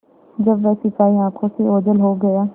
जब वह सिपाही आँखों से ओझल हो गया